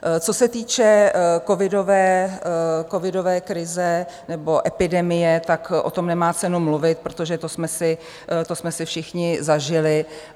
Co se týče covidové krize, nebo epidemie, tak o tom nemá cenu mluvit, protože to jsme si všichni zažili.